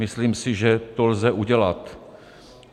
Myslím si, že to lze udělat.